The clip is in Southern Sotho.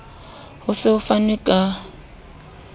ho se ho fanwe ka